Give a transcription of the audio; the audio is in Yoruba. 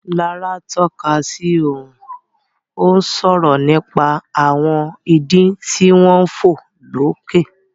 Lará tọ́ka sí ọ̀run, ó ń sọ̀rọ̀ nípa àwọn idì tí wọ́n ń fò lókè.